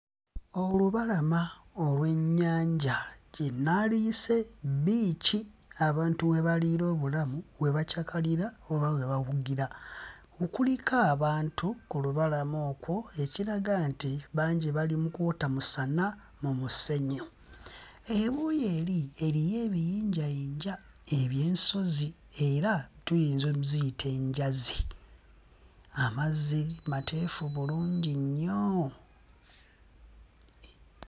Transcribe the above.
Olubalama olw'ennyanja gye naaliyise bbiici abantu we baliira obulamu, we bacakalira oba we bawugira. Kuliko abantu ku lubalama okwo, ekiraga nti bangi bali mu kwota musana mu musenyu. Ebuuyi eri eriyo ebiyinjayinja eby'ensozi era tuyinza ozziyita enjazi. Amazzi mateefu bulungi nnyo!